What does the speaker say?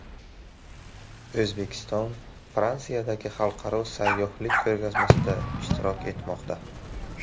O‘zbekiston Fransiyadagi xalqaro sayyohlik ko‘rgazmasida ishtirok etmoqda.